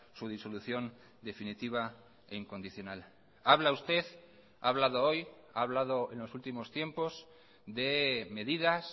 su disolución definitiva e incondicional habla usted ha hablado hoy ha hablado en los últimos tiempos de medidas